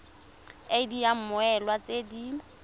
id ya mmoelwa tse di